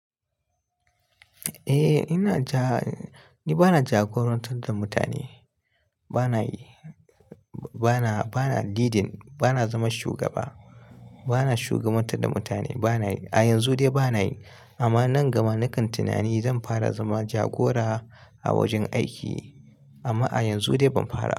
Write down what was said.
Eh ina ja, ni bana jagorantar da mutane bana yi, bana, bana leading bana zama shugaba, bana shugabantar da mutane bana yi a yanzu dai bana yi amma nan gaba na kan tunani zan fara zama jagora a wajen aiki amma a yanzu dai ban fara.